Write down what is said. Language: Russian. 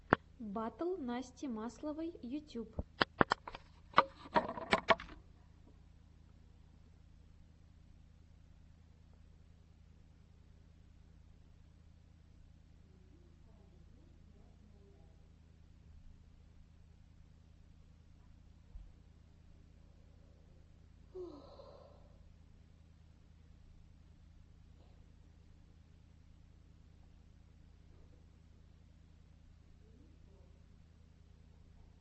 батл насти масловой ютьюб